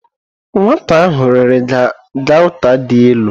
Nwata ahu riri gauta di ilu.